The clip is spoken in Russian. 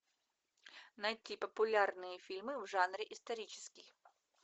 найти популярные фильмы в жанре исторический